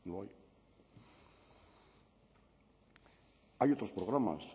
no hay hay otros programas